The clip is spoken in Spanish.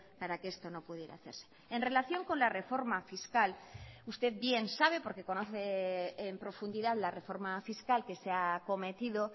para que esto no pudiera hacerse en relación con la reforma fiscal usted bien sabe porque conoce en profundidad la reforma fiscal que se ha cometido